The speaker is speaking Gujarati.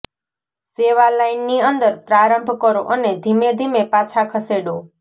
સેવા લાઇનની અંદર પ્રારંભ કરો અને ધીમે ધીમે પાછા ખસેડો